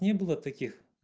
не было таких